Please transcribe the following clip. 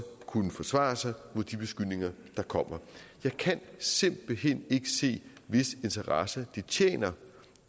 kunne forsvare sig mod de beskyldninger der kommer jeg kan simpelt hen ikke se hvis interesse det tjener